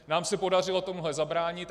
Nám se podařilo tomuhle zabránit.